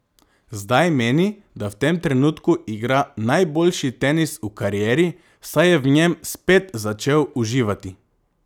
Zdaj meni, da v tem trenutku igra najboljši tenis v karieri, saj je v njem spet začel uživati.